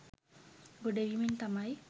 ගොඩබිමෙන් තමයි